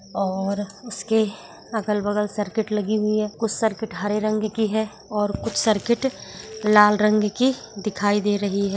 और उसके अगल-बगल सर्किट लगी हुई है कुछ सर्किट हरे रंग की है और कुछ सर्किट लाल रंग की दिखाई दे रही है।